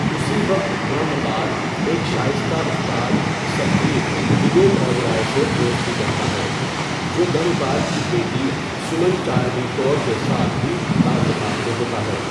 اسی وقت، برہما پال ایک شائستہ استاد ستبیر وویک اوبرائے سے دوستی کرتا ہے جو برہمپال کی بیٹی سمن چارمی کور کے ساتھ بھی تعلقات میں ہوتا ہے.